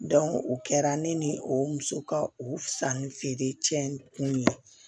o kɛra ne ni o muso ka o sannifeere cɛ in kun ye